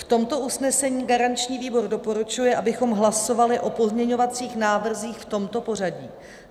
V tomto usnesení garanční výbor doporučuje, abychom hlasovali o pozměňovacích návrzích v tomto pořadí: